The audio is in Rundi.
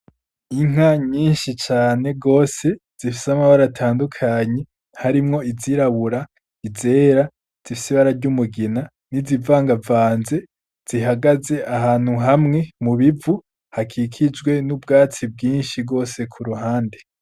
Inka nyinshi cane rwose zifise amabar atandukanyi harimwo izirabura izera zifisi bararyaumugina n'izivangavanze zihagaze ahantu hamwe mu bivu hakikijwe n'ubwatsi bwinshi rwose ku ruhande.